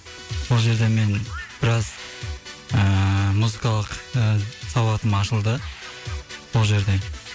сол жерде мен біраз ыыы музыкалық ы сауатым ашылды сол жерде